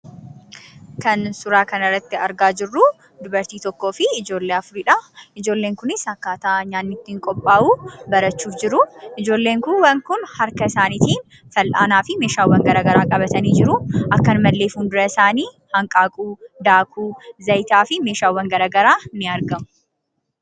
Kan suuraa kanarratti argaa jirruu dubartii tokkoo fi ijoollee afuridhaa. Ijoolleen kunis akkaataa nyaanni ittiin qophaa'u barachuuf jiruu. Ijoolleen kuuwwan kun harka isaaniitiin fal'aanaa fi meeshaawwan garaa garaa qabatanii jiruu. Akkanumallee fuuldura isaanii hanqaaquu, daakuu ,zayitaa fi meeshaawwan garagaraa ni argamu.